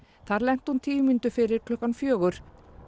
þar lenti hún tíu mínútur fyrir klukkan fjögur